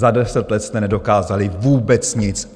Za deset let jste nedokázali vůbec nic!